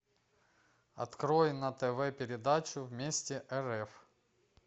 открой на тв передачу вместе рф